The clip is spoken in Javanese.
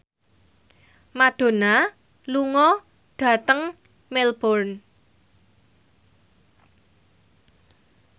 Madonna lunga dhateng Melbourne